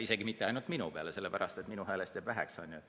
Isegi mitte ainult minu peale, sellepärast et minu häälest jääb väheks.